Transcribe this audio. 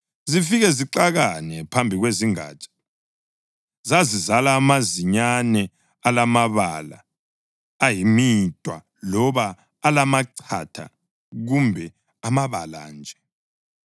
zifike zixakane phambi kwezingatsha. Zazizala amazinyane alamabala ayimidwa loba alamachatha kumbe amabala nje.